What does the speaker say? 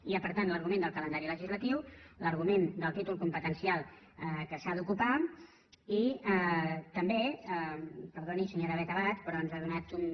hi ha per tant l’argument del calendari legislatiu l’argument del títol competencial que s’ha d’ocupar i també perdoni senyora beth abad però ens ha donat un